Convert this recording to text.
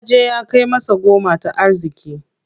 Yaje ya kai masa goma ta arziki.